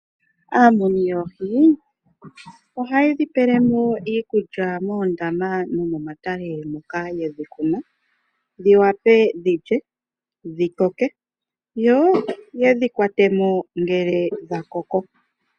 Aamuni yoohi oha yedhi pelemo iikulya moondama nomomatale moka yedhi tula dhiwape dhi lye dhikoke, yo yedhi kwatemo ngele dhakoko.